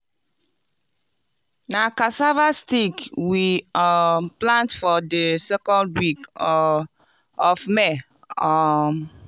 na cassava stick we um plant for di second week um of may. um